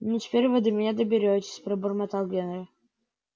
ну теперь вы до меня доберётесь пробормотал генри